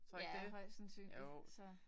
Ja højst sandsynligt så